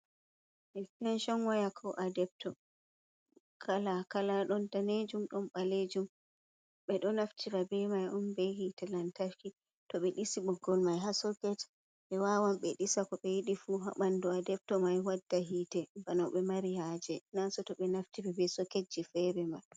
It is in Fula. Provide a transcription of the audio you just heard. Ekstenshon waya ko adepto kala-kala. Ɗon danejum, ɗon ɓaleejum. Ɓe ɗo naftira ɓe mai on be hite lantarki. To ɓe ɗisi ɓoggol mai haa soket, ɓe wawan ɓe ɗisa ko ɓe yiɗi fu haa ɓandu mai, adepto mai wadda hite bana no ɓe mari haaje, naa seto ɓe naftiri be soketji fere man.